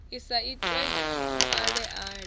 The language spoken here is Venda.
i sa itiwe ale ale